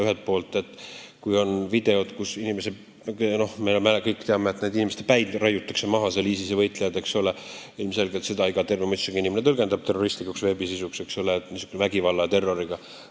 Ühelt poolt, kui võtta videod, mida me kõik teame ja kus ISIS-e võitlejad raiuvad maha inimeste päid, siis ilmselgelt tõlgendab iga terve mõistusega inimene seda kui terroristlikku veebisisu, seostab neid vägivalla ja terroriga.